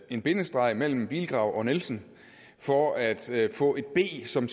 en bindestreg mellem bilgrav og nielsen for at få et b som